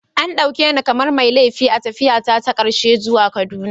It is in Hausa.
An dauke ni kamar mai laifi a tafiyata ta karshe zuwa Kaduna.